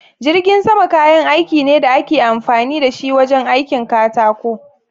Jirgin sama kayan aiki ne da ake amfani da shi wajen aikin katako.